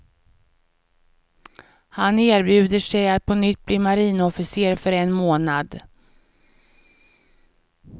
Han erbjuder sig att på nytt bli marinofficer för en månad.